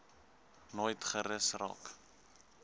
nooit gerus raak